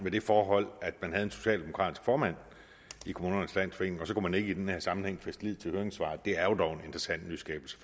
med det forhold at man havde en socialdemokratisk formand i kommunernes landsforening og så kunne man ikke i denne sammenhæng fæste lid til høringssvaret det er jo dog en interessant nyskabelse